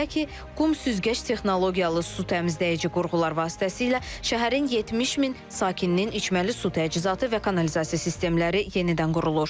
Belə ki, qum süzgəc texnologiyalı su təmizləyici qurğular vasitəsilə şəhərin 70000 sakininin içməli su təchizatı və kanalizasiya sistemləri yenidən qurulur.